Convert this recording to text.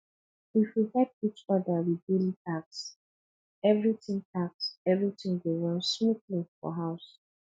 if we help each other with daily tasks everything tasks everything go run smoothly for house